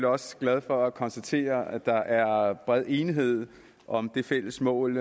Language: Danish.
også glad for at konstatere at der er bred enighed om det fælles mål